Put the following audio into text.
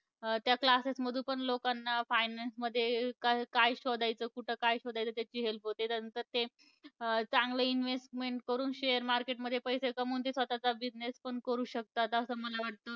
त्या classes मधून पण लोकांना finance मध्ये काय काय शोधायचं, कुठं काय शोधायचं त्याची help होते. त्याचं ते चांगलं investment करून share market मध्ये पैसे कमावून ते स्वतःचा business पण करू शकतात असं मला वाटतं.